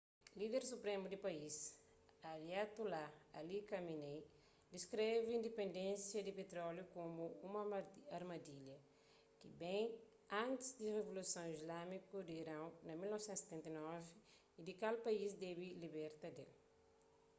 líder supremu di país ayatollah ali khamenei diskreve dipendénsia di pitróliu komu un armadilha ki ben é antis di rivoluson islamiku di iron na 1979 y di kal país debe liberta d-el